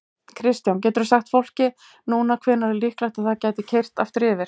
Kristján: Geturðu sagt fólki núna hvenær er líklegt að það geti keyrt aftur yfir?